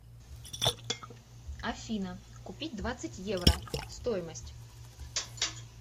афина купить двадцать евро стоимость